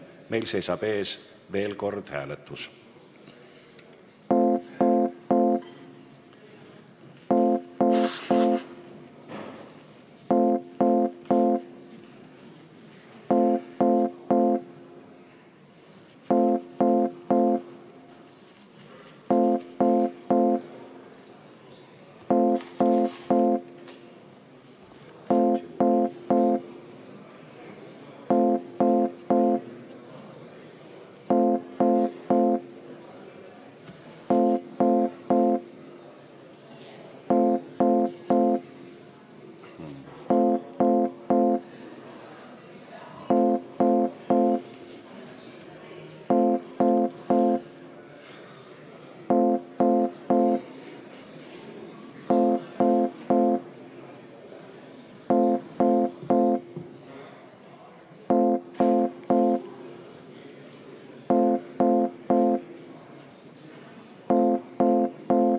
Meil seisab veel kord ees hääletus.